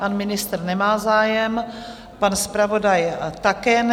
Pan ministr nemá zájem, pan zpravodaj také ne.